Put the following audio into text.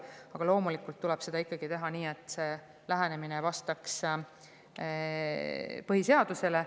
Aga loomulikult tuleb seda ikkagi teha nii, et see lähenemine vastaks põhiseadusele.